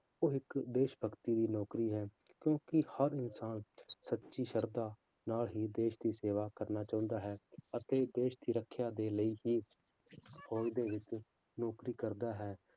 ਉਹ ਇੱਕ ਦੇਸ ਭਗਤੀ ਦੀ ਨੌਕਰੀ ਹੈ ਕਿਉਂਕਿ ਹਰ ਇਨਸਾਨ ਸੱਚੀ ਸਰਧਾ ਨਾਲ ਹੀ ਦੇਸ ਦੀ ਸੇਵਾ ਕਰਨਾ ਚਾਹੁੰਦਾ ਹੈ ਅਤੇ ਦੇਸ ਦੀ ਰੱਖਿਆ ਦੇ ਲਈ ਹੀ ਫੌਜ਼ ਦੇ ਵਿੱਚ ਨੌਕਰੀ ਕਰਦਾ ਹੈ